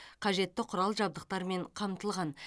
қажетті құрал жабдықтармен қамтылған